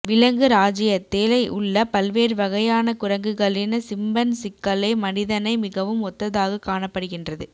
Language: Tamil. விலங்கு இராச்சியத்தில் உள்ள பல்வேறு வகையான குரங்குகளின் சிம்பன்சிக்களே மனிதனை மிகவும் ஒத்ததாக காணப்படுகின்றது